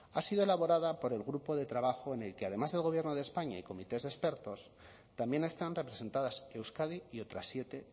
ha sido elaborada por el grupo de trabajo en el que además del gobierno de españa y comités de expertos también están representadas euskadi y otras siete